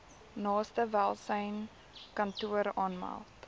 naaste welsynskantoor aanmeld